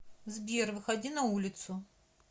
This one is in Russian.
сбер выходи на улицу